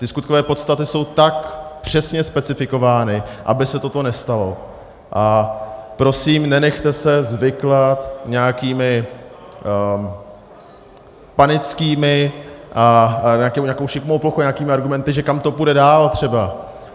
Ty skutkové podstaty jsou tak přesně specifikovány, aby se toto nestalo, a prosím, nenechte se zviklat nějakými panickými a nějakou šikmou plochou, nějakými argumenty, že kam to půjde dál třeba.